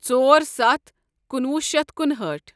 ژور ستھ کُنوُہ شیتھ کُنہأٹھ